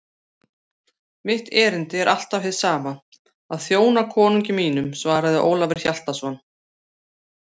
Mitt erindi er alltaf hið sama: að þjóna konungi mínum, svaraði Ólafur Hjaltason.